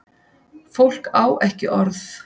Fólk á ekki orð.